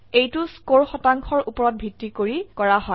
এইটো স্কোৰ শতাংশৰ উপৰত ভিত্তি কৰি কৰা হয়